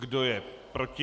Kdo je proti?